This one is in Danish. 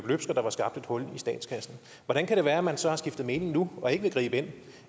der var skabt et hul i statskassen hvordan kan det være at man så har skiftet mening nu og ikke vil gribe ind